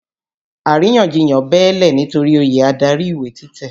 Àrínyànjiyàn bẹ́ẹ́lẹ̀ nitori oyè adarí ìwé títẹ̀.